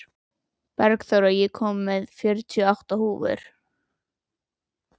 Bergþóra, ég kom með fjörutíu og átta húfur!